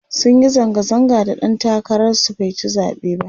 sunyi zanga zanga da ɗan takarar su baici zaɓe ba